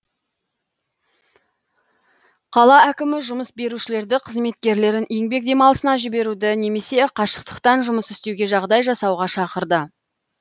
қала әкімі жұмыс берушілерді қызметкерлерін еңбек демалысына жіберуді немесе қашықтықтан жұмыс істеуге жағдай жасауға шақырады